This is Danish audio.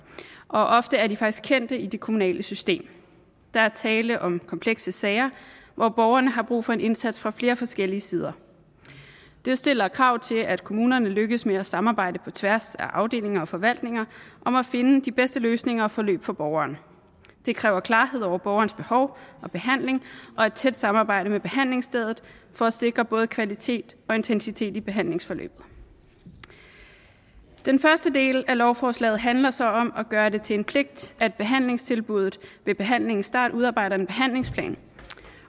og ofte er de faktisk kendte i det kommunale system der er tale om komplekse sager hvor borgeren har brug for en indsats fra flere forskellige sider det stiller krav til at kommunerne lykkes med at samarbejde på tværs af afdelinger og forvaltninger om at finde de bedste løsninger og forløb for borgeren det kræver klarhed over borgerens behov og behandling og et tæt samarbejde med behandlingsstedet for at sikre både kvalitet og intensitet i behandlingsforløbet den første del af lovforslaget handler så om at gøre det til en pligt at behandlingstilbuddet ved behandlingens start udarbejder en behandlingsplan